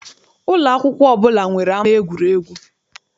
Ụlọ akwụkwọ ọbụla nwere ama egwuregwu.